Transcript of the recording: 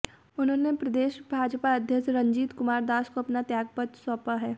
उन्होंने प्रदेश भाजपा अध्यक्ष रंजीत कुमार दास को अपना त्यागपत्र सौंपा है